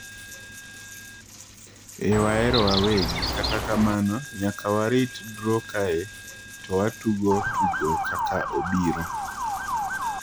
"""Eeh wahero wawegi, kata kamano nyaka warit draw kae to watugo tugo kaka obiro."""